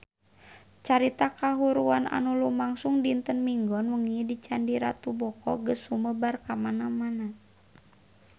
Carita kahuruan anu lumangsung dinten Minggon wengi di Candi Ratu Boko geus sumebar kamana-mana